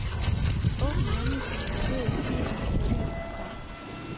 Åbn venligst den markerede fil med følgende program.